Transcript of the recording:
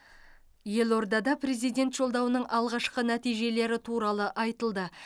елордада президент жолдауының алғашқы нәтижелері туралы айтылды